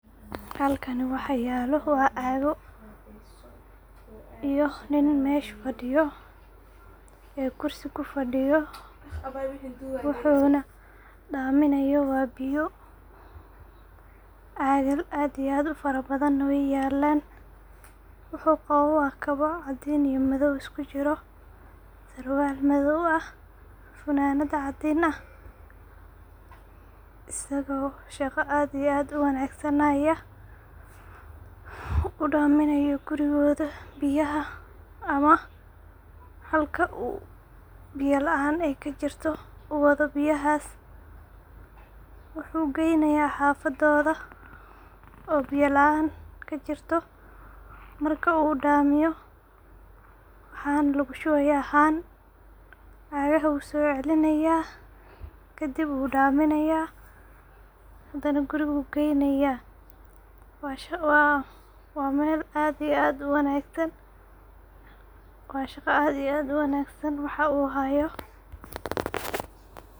Halkan waxa yelo waa cago iyo nin mesha fadiyo .Kursi kufadiyo wauxuna daminayo waa biyo, cagal aad iyo aad u fara badana wey yelan wuxu qawa kabaa cadin iyo madow isku jiran. Surwal madow ah, funanad cadin ah ,isago shaqo aad iyo aad u wanagsan hayaa,u daminayo gurigodha biyaha ama halka ay biyo kajirto u wadha biyahas wuxu geynaya hafadodha oo biyo laan kajirto ,marka u damiyo haan lagu shubaya haan ,cagaha u soo celinaya kadib uu dhaminaya ,hadana guriga uu geynaya Mashaa ALLAH waa mel aad iyo aad u wanagsan. Waa shaqo aad iyo aad u wanagsan waxa u hayo.